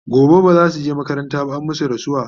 gobe bazasuje makaranta ba an masu rasuwa